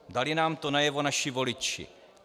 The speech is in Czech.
Dali nám to najevo naši voliči.